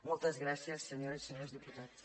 moltes gràcies senyores i senyors diputats